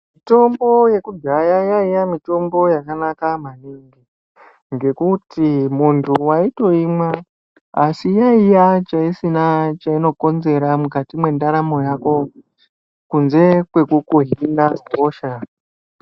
Mitombo yekudhaya yaiya mitombo yaka naka maningi ngekuti muntu waitoimwa asi iyo yacho isina chaino konzera mukati mwe ndaramo yako kunze kwekuku hina hosha.